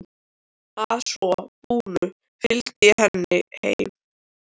Að svo búnu fylgdi ég henni heim.